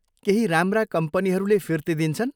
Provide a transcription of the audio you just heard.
केही राम्रा कम्पनीहरूले फिर्ती दिन्छन्।